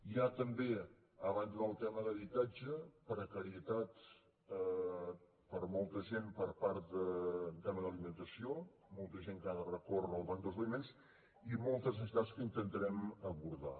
hi ha també a banda del tema d’habitatge precarietat per a molta gent per part del tema d’alimentació molta gent que ha de recórrer al banc dels aliments i moltes necessitats que intentarem abordar